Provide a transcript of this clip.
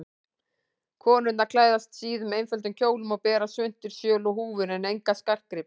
Konurnar klæðast síðum, einföldum kjólum og bera svuntur, sjöl og húfur en enga skartgripi.